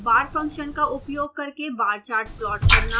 bar function का उपयोग करके bar chart प्लॉट करना